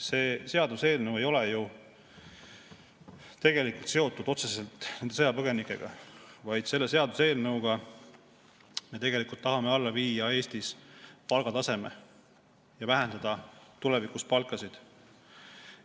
See seaduseelnõu ei ole ju tegelikult otseselt seotud nende sõjapõgenikega, vaid selle seaduseelnõuga me tegelikult tahame alla viia Eestis palgataseme ja vähendada tulevikus palkasid.